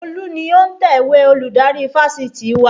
Olú ni òǹtẹ̀wẹ́ Olùdarí Fáṣitì wa